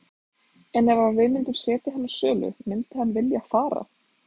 En ef að við myndum setja hann á sölu myndi hann vilja fara?